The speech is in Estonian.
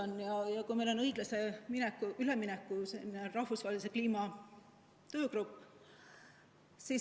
Meil on rahvusvaheline õiglase ülemineku kliimatöögrupp.